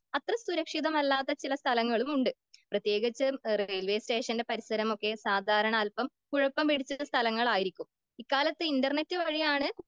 അത്ര സുരക്ഷിതമല്ലാത്ത ചില സ്ഥലങ്ങളും ഉണ്ട്.പ്രത്യേകിച്ച് റെയിൽവേ സ്റ്റേഷനിന്റെ പരിസരമൊക്കെ സാധാരണ അൽപ്പം കുഴപ്പം പിടിച്ച സ്ഥലങ്ങൾ ആയിരിക്കും.ഇക്കാലത്ത് ഇന്റർനെറ്റ് വഴിയാണ്